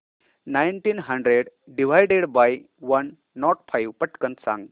nineteen hundred divided by one nought five पटकन सांग